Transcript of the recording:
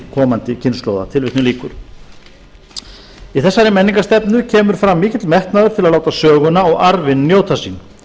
komandi kynslóða í þessari menningarstefnu kemur fram mikill metnaður til að láta söguna og arfinn njóta sín